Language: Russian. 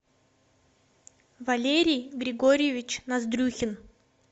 валерий григорьевич ноздрюхин